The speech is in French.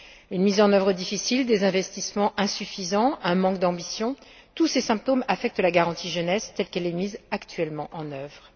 Une mise en œuvre difficile, des investissements insuffisants, un manque d'ambition, tous ces symptômes affectent la garantie pour la jeunesse telle qu'elle est actuellement mise en œuvre.